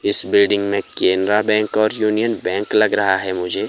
इस बिल्डिंग में बैंक और यूनियन बैंक लग रहा है मुझे।